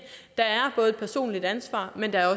personligt ansvar men der er